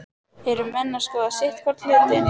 Eru menn að skoða sitthvorn hlutinn?